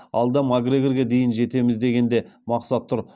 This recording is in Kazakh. алда макгрегорге дейін жетеміз деген де мақсат тұр